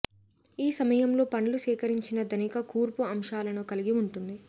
ఈ సమయంలో పండ్లు సేకరించిన ధనిక కూర్పు అంశాలను కలిగి ఉంటుంది